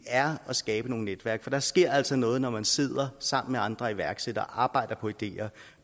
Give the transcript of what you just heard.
er at skabe nogle netværk for der sker altså noget når man sidder sammen med andre iværksættere og arbejder på ideer